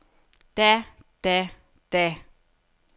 da da da